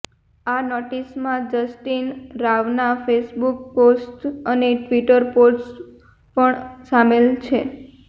આ નોટિસમાં જસ્ટીન રાવના ફેસબુક પોસ્ટ્સ અને ટ્વિટર પોસ્ટ્સ પણ શામેલ છે